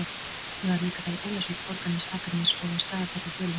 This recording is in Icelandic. Ég varð líka að fara í Ólafsvík, Borgarnes, Akranes og á Staðarfell í Dölum